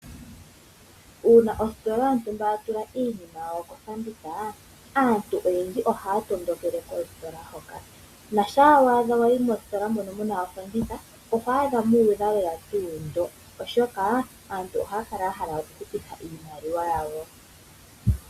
Uuna ositola yontumba ya tula iinima kofanditha aantu oyendji ohaya tondokele kositola hoka, na shaawa adha wayi mositola mono muna ofanditha ogo adha muudha lela tuu ndo, oshoka aantu ohaya kala ya hala oku hupitha iimaliwa yawo.